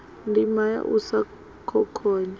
ndima ya u sa khokhonya